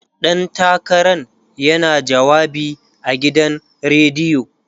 ɗan takaran yana jawabi a gidan rediyo